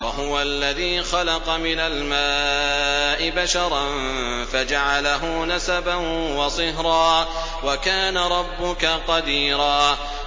وَهُوَ الَّذِي خَلَقَ مِنَ الْمَاءِ بَشَرًا فَجَعَلَهُ نَسَبًا وَصِهْرًا ۗ وَكَانَ رَبُّكَ قَدِيرًا